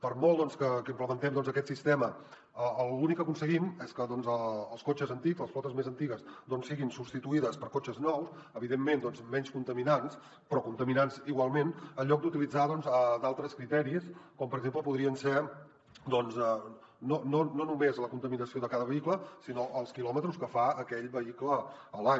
per molt que implementem aquest sistema l’únic que aconseguim és que els cotxes antics les flotes més antigues siguin substituïdes per cotxes nous evidentment menys contaminants però contaminants igualment en lloc d’utilitzar d’altres criteris com per exemple podria ser no només la contaminació de cada vehicle sinó els quilòmetres que fa aquell vehicle a l’any